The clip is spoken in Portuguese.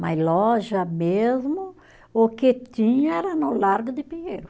Mas loja mesmo, o que tinha era no Largo de Pinheiro.